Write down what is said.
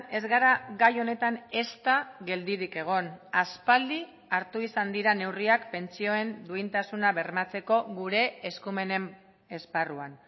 ez gara gai honetan ezta geldirik egon aspaldi hartu izan dira neurriak pentsioen duintasuna bermatzeko gure eskumenen esparruan